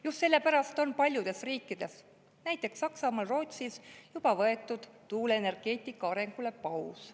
Just sellepärast on paljudes riikides, näiteks Saksamaal, Rootsis, juba võetud tuuleenergeetika arengule paus.